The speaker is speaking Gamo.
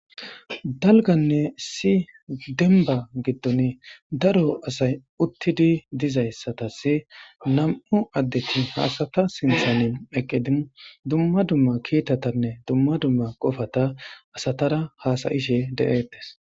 dalganne si denba giddon daro asay uttidi dizayssatas nam7u addeti haasata sinthane eqqidi dumma dumma kiitatanne dumma dumma qofata asatara haasayishe de7eetes